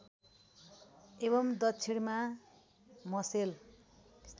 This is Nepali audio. एवम् दक्षिणमा मसेल